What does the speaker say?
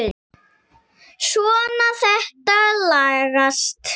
Svona, þetta lagast